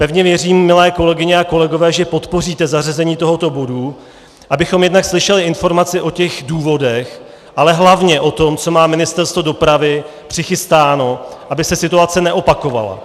Pevně věřím, milé kolegyně a kolegové, že podpoříte zařazení tohoto bodu, abychom jednak slyšeli informaci o těch důvodech, ale hlavně o tom, co má Ministerstvo dopravy přichystáno, aby se situace neopakovala.